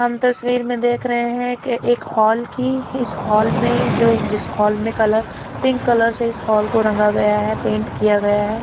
हम तस्वीर में देख रहे हैं कि एक हॉल की इस हॉल में जो जिस हॉल में कलर पिंक कलर से इस हॉल को रंगा गया है पेंट किया गया है।